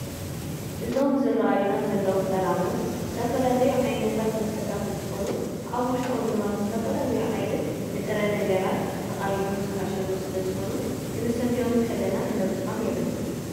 እዞም ዝረአዩና ዘለው ጠራሙዝ ዝተፈላለዩ ዓይነታት መስተታት እንትኾኑ ኣብ ውሽጦም ድማ ብዝተፈላለዩ ዓይነት ንጥረ ነገራት ተቐሚሞም ዝተዓሸጉ ስለዝኾኑ ክንሰትዮም ከለና ክነብዘሖም የብልናን፡፡